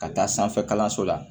Ka taa sanfɛ kalanso la